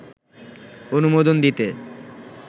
অনুমোদন দিতে